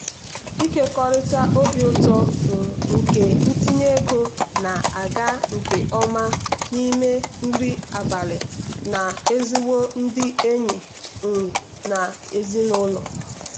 ịkekọrịta obi ụtọ um nke ntinye ego na-aga nke ọma n'ime nri abalị na ezigbo ndị enyi um na ezinụlọ.